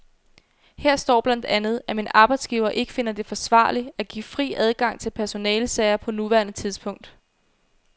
Her står blandt andet, at min arbejdsgiver ikke finder det forsvarligt at give fri adgang til personalesager på nuværende tidspunkt.